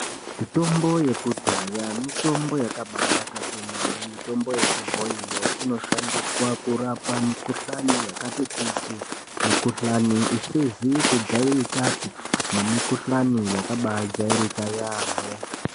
Mitombo yakudhaya mitombo yakabanaka kwemene mitombo yechibhoiyo inoshandiswa kurapa mikuhlani yakati kuti. Mikuhlani isizi kujairikapi nemikuhlani yakabajairika yaamho.